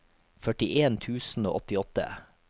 førtien tusen og åttiåtte